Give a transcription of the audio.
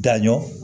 Daɲɔgɔn